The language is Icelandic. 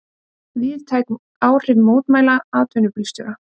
Víðtæk áhrif mótmæla atvinnubílstjóra